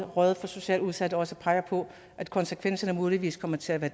rådet for socialt udsatte også peger på at konsekvenserne muligvis kommer til at